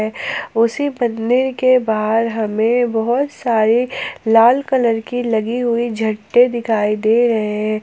उसी मंदिर के बाहर हमें बहुत सारे लाल कलर की लगी हुई झंडे दिखाई दे रहे हैं।